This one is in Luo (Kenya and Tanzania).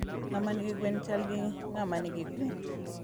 ngama nigi gwen chal gi mngama nigi gwen